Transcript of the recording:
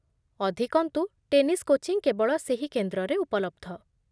ଅଧିକନ୍ତୁ, tennis coaching କେବଳ ସେହି କେନ୍ଦ୍ରରେ ଉପଲବ୍ଧ।